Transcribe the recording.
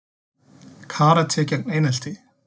Karate gegn einelti